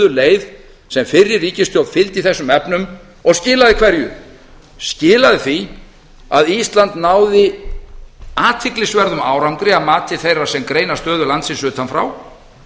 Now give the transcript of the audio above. leið sem fyrri ríkisstjórn fylgdi í þessum efnum og skilaði hverju skilaði því að ísland náði athyglisverðum árangri að mati þeirra sem greina stöðu landsins utan frá